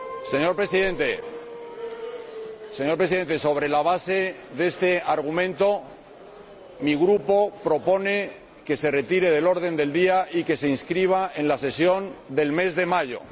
Señor Presidente, sobre la base de este argumento, mi Grupo propone que se retire del orden del día y que se inscriba en la sesión del mes de mayo.